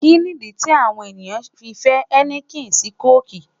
Kini idi ti awọn eniyan fẹ heineken si coke?